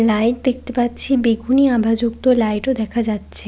Light দেখতে পাচ্ছি। বেগুনি আভা যুক্ত লাইট ও দেখা যাচ্ছে।